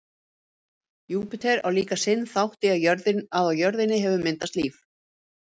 júpíter á líka sinn þátt í að á jörðinni hefur myndast líf